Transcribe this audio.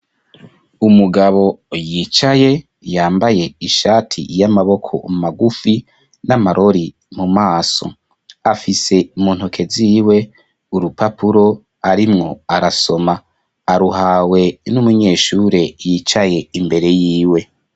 Umugabo yicaye yambaye ishati y'amaboko magufi n'amarori mu maso afise muntoke ziwe urupapuro arimwo arasoma aruhawe n'umunyeshure yicaye imbere yiwe.